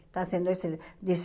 Está sendo excelente.